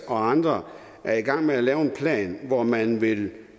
og andre er i gang med at lave en plan hvor man vil